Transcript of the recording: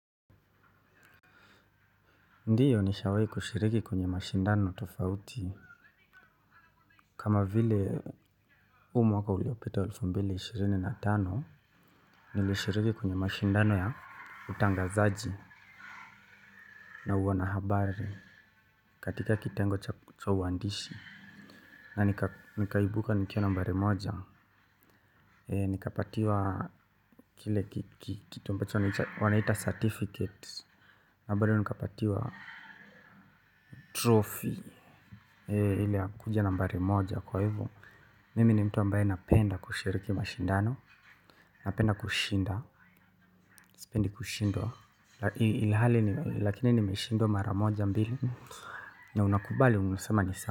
Ndiyo nishawai kushiriki kwenye mashindano tofauti. Kama vile huu mwaka uliopita elfu mbili na ishirini na tano, nilishiriki kwenye mashindano ya utangazaji na uwanahabari. Katika kitengo cha uandishi. Na nikaibuka nikiwa nambari moja. Nikapatiwa kile kitu ambacho wanaita certificate. Na bado nikapatiwa trophy. Ile ya kuja nambari moja kwa hivyo. Mimi ni mtu ambaye napenda kushiriki mashindano. Napenda kushinda. Sipendi kushindwa ilihali ni lakini nimeshindwa maramoja mbili. Na unakubali unasema ni sawa.